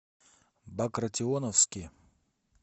багратионовске